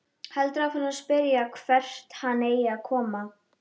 Heldur áfram að spyrja hvert hann eigi að koma.